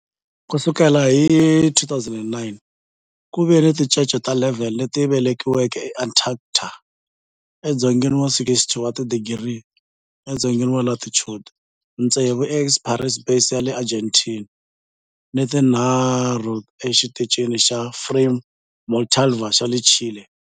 Ku sukela hi 2009, ku ve ni tincece ta 11 leti velekiweke eAntarctica, edzongeni wa 60 wa tidigri edzongeni wa latitude, tsevu eEsperanza Base ya le Argentina ni tinharhu eXitichini xa Frei Montalva xa le Chile.